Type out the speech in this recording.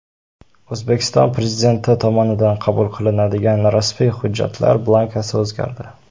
O‘zbekiston Prezidenti tomonidan qabul qilinadigan rasmiy hujjatlar blankasi o‘zgardi.